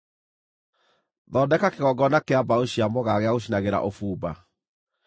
“Thondeka kĩgongona kĩa mbaũ cia mũgaa gĩa gũcinagĩra ũbumba.